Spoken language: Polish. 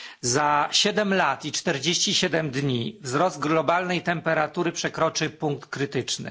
Za 7 lat i 47 dni wzrost globalnej temperatury przekroczy punkt krytyczny.